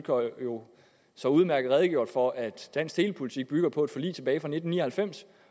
jo så udmærket redegjort for at dansk telepolitik bygger på et forlig fra tilbage i nitten ni og halvfems